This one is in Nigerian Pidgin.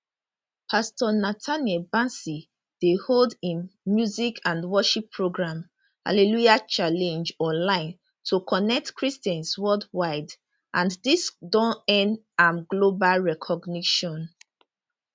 pastor nathaniel bassey dey hold im music and worship program hallelujah challenge online to connect christians worldwide and dis don earn am global recognition